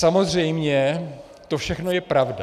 Samozřejmě to všechno je pravda.